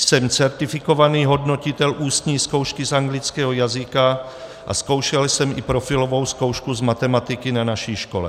Jsem certifikovaný hodnotitel ústní zkoušky z anglického jazyka a zkoušel jsem i profilovou zkoušku z matematiky na naší škole.